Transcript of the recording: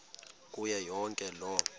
kuyo yonke loo